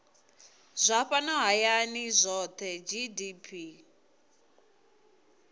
zwa fhano hayani zwohe gdp